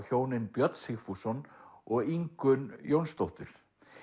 hjónin Björn Sigfússon og Ingunn Jónsdóttir